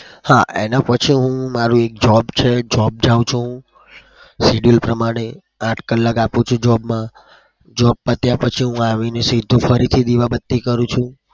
હા એનાં પછી હું મારું એક job છે. job જાઉં છું. આઠ કલાક આપું છું job માં. job પત્યા પછી હું આવીને સીધો ફરીથી દીવાબત્તી કરું છું.